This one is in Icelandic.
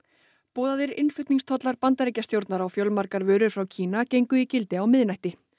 boðaðir innflutningstollar Bandaríkjastjórnar á fjölmargar vörur frá Kína gengu í gildi á miðnætti